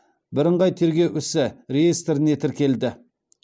бірыңғай тергеу ісі реестріне тіркелді